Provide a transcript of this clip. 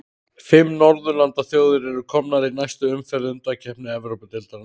Fimm norðurlandaþjóðir eru komnar í næstu umferð undankeppni Evrópudeildarinnar.